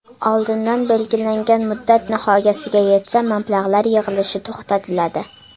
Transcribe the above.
Oldindan belgilangan muddat nihoyasiga yetsa mablag‘lar yig‘ilishi to‘xtatiladi.